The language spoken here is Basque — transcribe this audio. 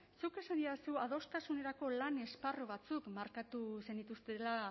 zuk esan didazu adostasunerako lan esparru batzuk markatu zenituztela